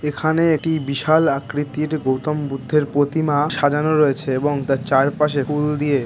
এখানে এটি বিশাল আকৃতির গৌতম বুদ্ধের প্রতিমা সাজানো রয়েছে এবং তার চারপাশে উল দিয়ে--